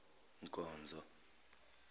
nkonzo